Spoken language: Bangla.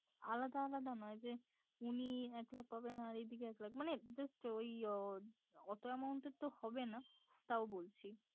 আলাদা আলাদা নয় যে উনি এক লাখ পাবেন আর এদিকে এক লাখ মানে just ওই অত amount এর তো হবে না তাও বলছি